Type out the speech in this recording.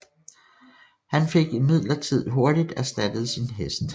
Han fik imidlertid hurtig erstattet sin hest